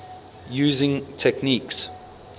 using techniques